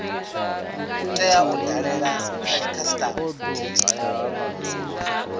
u tea u dalela khasitama